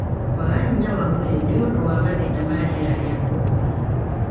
kwaga hinya wa mwĩrĩ nĩ ũndũ wa mathĩna ma rĩera rĩa kũhihia.